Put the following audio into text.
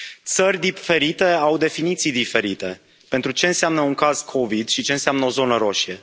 Țări diferite au definiții diferite pentru ce înseamnă un caz Covid și ce înseamnă o zonă roșie.